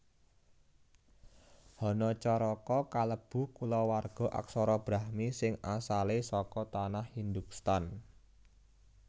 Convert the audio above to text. Hanacaraka kalebu kulawarga aksara Brahmi sing asalé saka Tanah Hindhustan